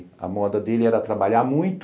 A moda dele era trabalhar muito,